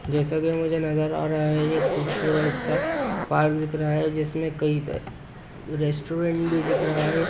जैसा की मुझे नजर आ रहा है ये खूबसूरत-सा पार्क दिख रहा है जिसमे कहीं रेस्टोरेंट भी दिख रहा है।